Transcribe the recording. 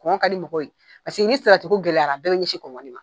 ka di mɔgɔw ye paseke ni salati ko gɛlɛyarara bɛɛ bi ɲɛsin ma.